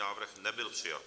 Návrh nebyl přijat.